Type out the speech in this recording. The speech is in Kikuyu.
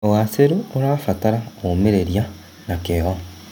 ũgacĩru ũrabatara ũmĩrĩria na kĩyo.